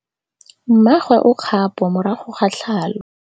Mmagwe o kgapô morago ga tlhalô.